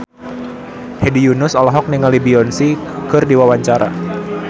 Hedi Yunus olohok ningali Beyonce keur diwawancara